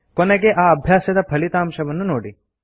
ಕೊನೆಗೆ ಆ ಅಭ್ಯಾಸದ ಫಲಿತಾಂಶವನ್ನು ನೋಡಿ